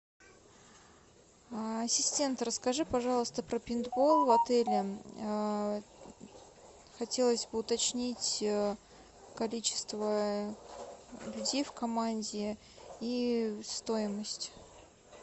ассистент расскажи пожалуйста про пейнтбол в отеле хотелось бы уточнить количество людей в команде и стоимость